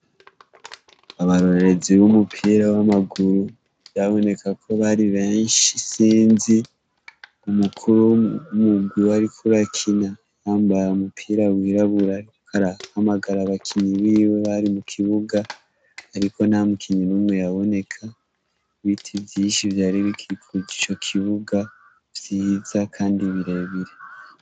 Abarorerezi b'umupira w'amaguru vyaboneka ko bari benshi isinzi, umukuru w'umugwi wariko urakina yambaye umupira wirabura ariko arahamagara abakinyi biwe bari mu kibuga, ariko nta mukinyi n'umwe yaboneka, ibiti vyinshi vyari bikikuje ico kibuga vyiza kandi birebire.